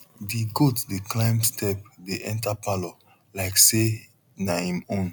di goat dey climb step dey enter parlour like say na em own